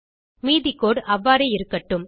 மீதி கோடு அவ்வாறே இருக்கட்டும்